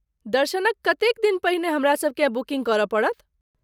दर्शनक कतेक दिन पहिने हमरासभ केँ बुकिन्ग करय पड़त।